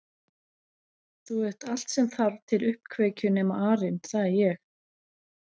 Þú ert allt sem þarf til uppkveikju nema arinn það er ég